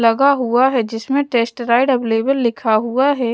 लगा हुआ है जिसमें टेस्ट राइड अवेलेबल लिखा हुआ है।